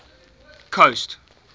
coast